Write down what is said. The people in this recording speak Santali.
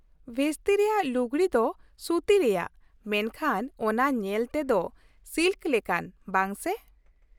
ᱵᱷᱮᱥᱛᱤ ᱨᱮᱭᱟᱜ ᱞᱩᱜᱽᱲᱤ ᱫᱚ ᱥᱩᱛᱤ ᱨᱮᱭᱟᱜ, ᱢᱮᱱᱠᱷᱟᱱ ᱚᱱᱟ ᱧᱮᱞᱛᱮ ᱛᱮᱫᱚ ᱥᱤᱞᱠ ᱞᱮᱠᱟᱱ, ᱵᱟᱝ ᱥᱮ ?